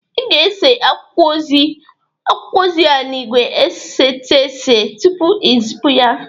Ị ga-ese akwụkwọ ozi a n'igwe esetese tupu i zịpụ ya!